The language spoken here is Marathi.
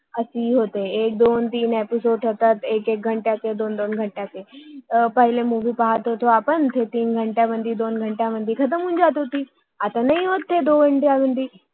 अशी होते एक दोन तीन एपिसोड episode होतात एक एक घंट्याचे दोन दोन घंट्याचे पहिले मोवी पाहत होतो आपण ते तीन घंटाट्यात दोन घंट्यात संपून जायची पण आता ती नाही होत ते दोन घनट्यात मध्ये